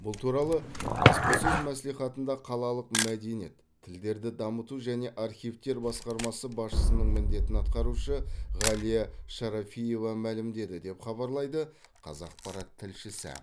бұл туралы баспасөз мәслихатында қалалық мәдениет тілдерді дамыту және архивтер басқармасы басшысының міндетін атқарушы ғалия шарафиева мәлімдеді деп хабарлайды қазақпарат тілшісі